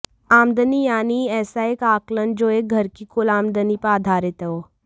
आमदनी यानी ऐसा एक आकलन जो एक घर की कुल आमदनी पर आधारित हो